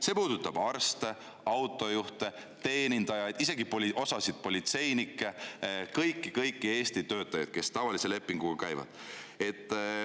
See puudutab arste, autojuhte, teenindajaid, isegi osa politseinikke, ehk kõiki Eesti töötajaid, kes tavalise lepinguga töötavad.